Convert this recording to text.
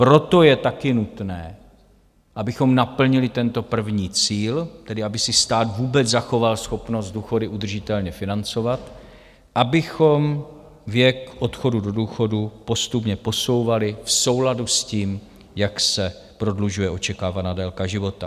Proto je taky nutné, abychom naplnili tento první cíl, tedy aby si stát vůbec zachoval schopnost důchody udržitelně financovat, abychom věk odchodu do důchodu postupně posouvali v souladu s tím, jak se prodlužuje očekávaná délka života.